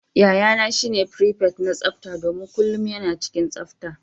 Yayana shine prepet na tsafta domin kullum yana cikin tsafta.